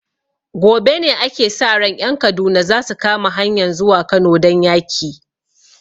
Gobe ne ake sa ran ƴan Kaduna zasu kama hanyan zuwa Kano don yaki